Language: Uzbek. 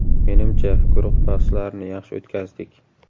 − Menimcha, guruh bahslarini yaxshi o‘tkazdik.